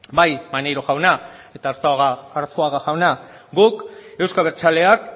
bai maneiro jauna eta arzuaga jauna guk euzko abertzaleak